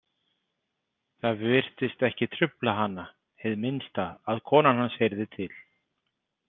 Það virtist ekki trufla hana hið minnsta að konan hans heyrði til.